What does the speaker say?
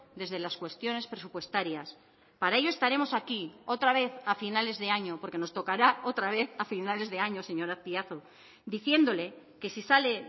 desde las cuestiones presupuestarias para ello estaremos aquí otra vez a finales de año porque nos tocará otra vez a finales de año señor azpiazu diciéndole que si sale